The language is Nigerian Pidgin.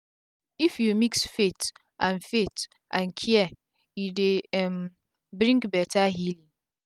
if u mix faith and faith and care e dey um bring beta healing